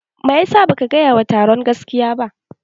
Maisa baka gaya wa taron gaskiya ba?